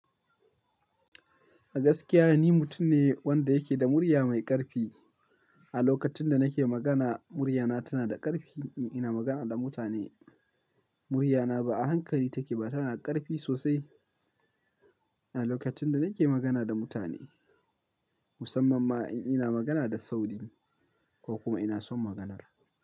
A gaskiya ni mutum ne wanda yake da murya mai ƙarfi. A lokacin da nake magana, murya na tana da ƙarfi in ina magana da mutane. Murya na ba a hankali take ba, tana ƙarfi sosai a lokacin da nake magana da mutane. Musamman ma in ina magana da sauri ko kuma ina son maganar.